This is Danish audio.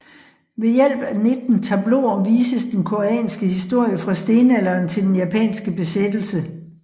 Ved hjælp af 19 tableauer vises den koreanske historie fra stenalderen til den japanske besættelse